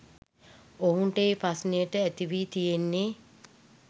ඔවුන්ට ඒ ප්‍රශ්නය ඇතිවී තියෙන්නේ